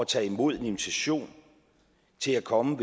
tage imod en invitation til at komme